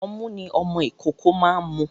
Ọmu ni ọmọ ìkókó máa ń mu.